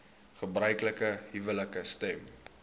gebruiklike huwelike stem